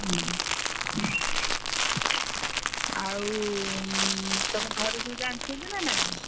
ହୁଁ ଆଉ ତମ ଘରେ ସବୁ ଜାଣିଛନ୍ତି ନା ନାଇ?